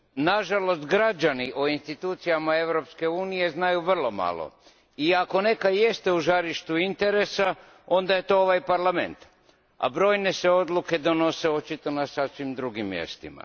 Nažalost, građani o institucijama Europske unije znaju vrlo malo i ako neka i jest u žarištu interesa, onda je to ovaj Parlament, a brojne se odluke donose očito na sasvim drugim mjestima.